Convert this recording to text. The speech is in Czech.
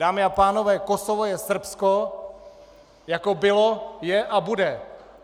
Dámy a pánové, Kosovo je Srbsko, jako bylo, je a bude!